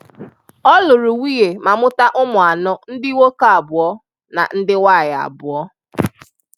Ọ lụrụ nwunye ma mụta ụmụ anọ; ndị nwoke abụọ na ndị nwaanyị abụọ.